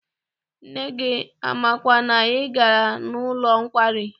Nne gị amakwa na ị gara n'ụlọ nkwari?